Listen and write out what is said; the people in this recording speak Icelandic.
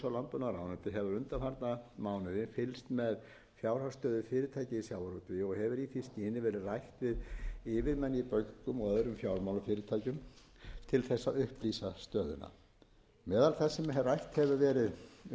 hefur undanfarna mánuði fylgst með fjárhagsstöðu fyrirtækja í sjávarútvegi og hefur í því skyni verið rætt við yfirmenn í bönkum og öðrum fjármálafyrirtækjum til þess að upplýsa stöðuna meðal þess sem rætt hefur verið